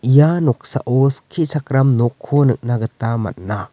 ia noksao skichakram nokko nikna gita man·a.